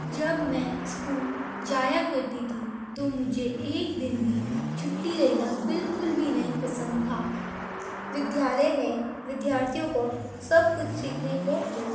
जब मे स्कूल जाया करता था टो मुझे एक दिन भी छूटी लेना बिल्कुल भी नहीं पसंद था। विद्यालय में विद्यार्थी को सब कुछ सीखने को मिल --